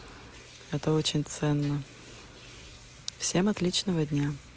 это очень ценно всем отличного дня